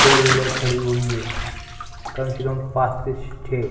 four wheeler खड़ी हुई है कम से कम पांच छे --